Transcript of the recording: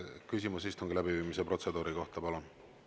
Küsimus istungi läbiviimise protseduuri kohta, palun!